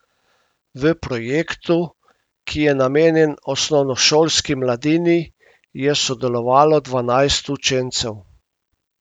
V projektu, ki je namenjen osnovnošolski mladini, je sodelovalo dvanajst učencev.